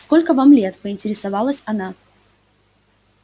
сколько вам лет поинтересовалась она